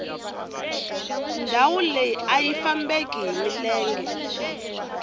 ndhawu leyi ayi fambeki hi milenge